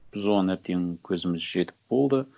біз оған әбден көзіміз жетіп болды